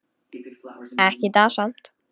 Ekki í dag samt.